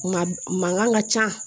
Nka mankan ka ca